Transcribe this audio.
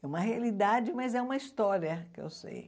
É uma realidade, mas é uma história que eu sei.